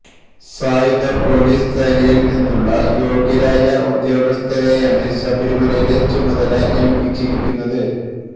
സായുധ പൊലീസ് സേനയിൽ നിന്നുള്ള യോഗ്യരായ ഉദ്യോഗസ്ഥരെയാണ് ശബരിമലയിലെ ചുമതല ഏൽപ്പിച്ചിരിക്കുന്നത്